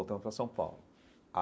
Voltamos para São Paulo.